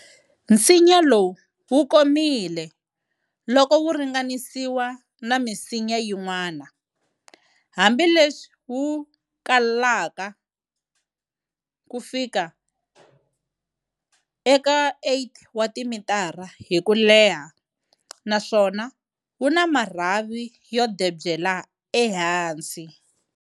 Nsinya lowu wukomile loko wu ringanisiwa na misinya yin'wana, hambi leswi wukulaka ku fika eka 8 wa timitara hi kuleha naswona wu na marhavi yo devyela e hansi.